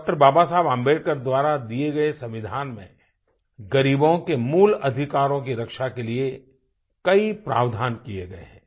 डॉ० बाबा साहब अम्बेडकर द्वारा दिए गए संविधान में ग़रीबों के मूल अधिकारों की रक्षा के लिए कई प्रावधान किये गए हैं